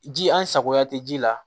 Ji an sagoya tɛ ji la